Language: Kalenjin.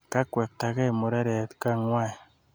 Kakwektagei mureret kang'wai.